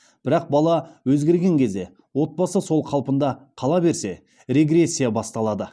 бірақ бала өзгерген кезде отбасы сол қалпында қала берсе регрессия басталады